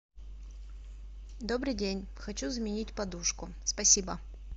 добрый день хочу заменить подушку спасибо